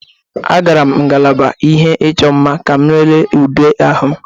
Agara m ngalaba ihe ịchọ mma ka m lelee ude ahụ m